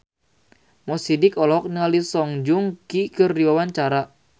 Mo Sidik olohok ningali Song Joong Ki keur diwawancara